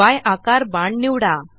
य आकार बाण निवडा